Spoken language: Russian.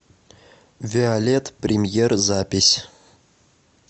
виолет премьер запись